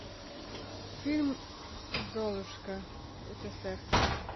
фильм золушка ссср